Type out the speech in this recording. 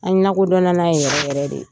nakodɔnna n'a ye yɛrɛ yɛrɛ de.